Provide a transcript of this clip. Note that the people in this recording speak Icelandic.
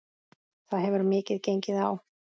Það hefur mikið gengið á.